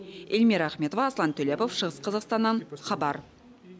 эльмира ахметова аслан төлепов шығыс қазақстаннан хабар